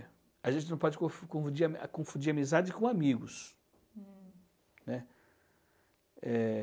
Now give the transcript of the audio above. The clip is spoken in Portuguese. a gente não pode confu confundir confundir amizade com amigos, né? Eh...